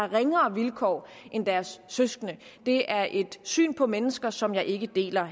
ringere vilkår end deres søskende det er et syn på mennesker som jeg ikke deler